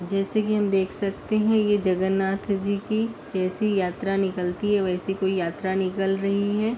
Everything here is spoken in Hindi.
जैसे कि हम देख सकते हैं ये जगन्नाथ जी की जैसी यात्रा निकलती है वैसी कोई यात्रा निकल रही है।